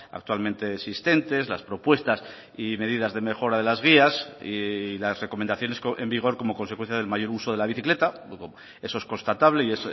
actualmente existentes las propuestas y medidas de mejora de las vías y las recomendaciones en vigor como consecuencia del mayor uso de la bicicleta eso es constatable y